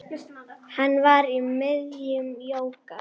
Hann var í miðjum jóga